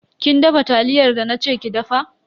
Kin dafa taliyar da na ce ki dafa?